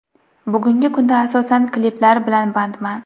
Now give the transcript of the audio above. Bugungi kunda asosan kliplar bilan bandman.